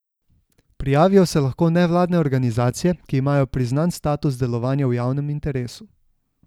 Prijavijo se lahko nevladne organizacije, ki imajo priznan status delovanja v javnem interesu.